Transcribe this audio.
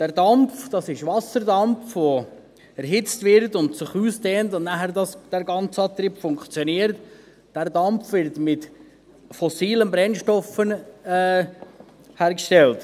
Dieser Dampf – das ist Wasserdampf, der erhitzt wird und sich ausdehnt, sodass nachher der ganze Antrieb funktioniert – wird mit fossilen Brennstoffen hergestellt.